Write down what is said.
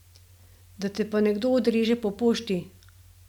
Da te pa nekdo odreže po pošti ...